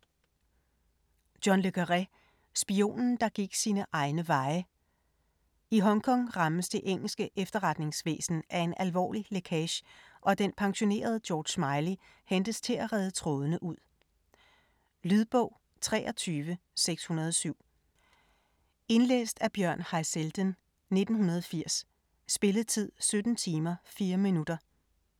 Le Carré, John: Spionen der gik sine egne veje I Hongkong rammes det engelske efterretningsvæsen af en alvorlig lækage, og den pensionerede George Smiley hentes til at rede trådene ud. Lydbog 23607 Indlæst af Bjørn Haizelden, 1980. Spilletid: 17 timer, 4 minutter.